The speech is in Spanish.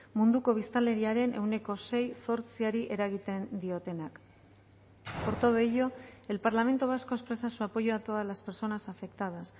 munduko biztanleriaren ehuneko seizortziari eragiten diotenak por todo ello el parlamento vasco expresa su apoyo a todas las personas afectadas